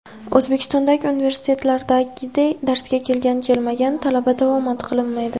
O‘zbekistondagi universitetlardagiday darsga kelgan, kelmagan talaba davomat qilinmaydi.